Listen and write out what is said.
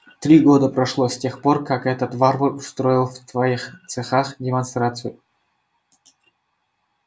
три года прошло с тех пор как этот варвар устроил в твоих цехах демонстрацию